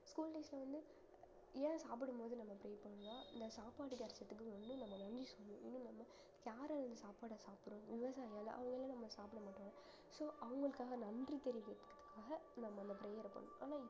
school days ல வந்து ஏன் சாப்பிடும்போது நம்ம pray பண்ண இந்த சாப்பாடு கிடச்சதுக்கு வந்து நம்ம நன்றி சொல்லணும் இன்னும் நம்ம யாரு அந்த சாப்பாடை சாப்பிடுறோம் விவசாயியால அவங்க இல்லைனா நம்ம சாப்பிட மாட்டோம் so அவங்களுக்காக நன்றி தெரிவிக்கிறதுக்காக நம்ம அந்த prayer அ பண்~ ஆனா